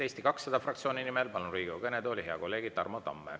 Eesti 200 fraktsiooni nimel palun Riigikogu kõnetooli hea kolleegi Tarmo Tamme.